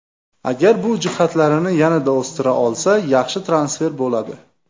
Agar bu jihatlarini yanada o‘stira olsa, yaxshi transfer bo‘ladi.